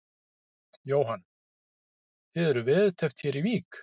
Jóhann: Þið eruð veðurteppt hér í Vík?